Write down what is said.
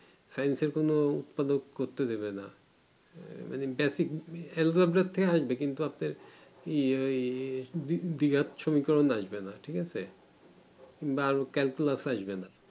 scince এর কোনো উৎপাদক করতে দিবে না এ মানেও basic এগুলোর থেকে আসবে কিন্তু আপনার বিরাট সমীকরণ আসবে না ঠিক আছে বা আরো calculus আসবে না